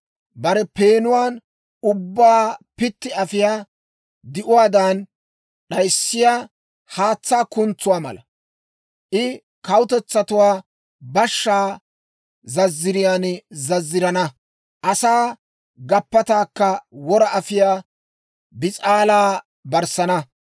Bare peenuwaan ubbabaa pitti afiyaa di'uwaadan, d'ayissiyaa haatsaa kuntsuwaa mala. I kawutetsatuwaa bashshaa zazziriyaan zazzirana; asaa gappataakka wora afiyaa bis'aalaa barssana.